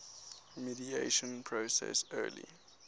mediation process early